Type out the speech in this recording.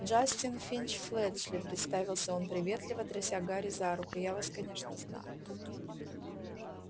джастин финч-флетчли представился он приветливо тряся гарри за руку я вас конечно знаю